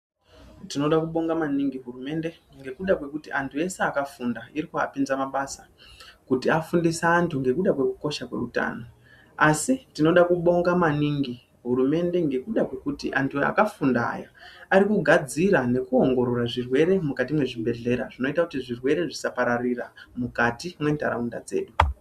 Tinoda kubonga maningi hurumende ngekuda kwekuti anhu ese akafunda irikuapinza mabasa kuti afundise antu nekuda kwekusho kweutano, asi tinoda kubonga maningi hurumende ngekuda kwekuti anhu akafunda ya arikugadzira nekuongorora zvirwere mukati mwezvibhedhlera zvinoita kuti zvirwere zvisapararira mukati mwentaraunda dzedu.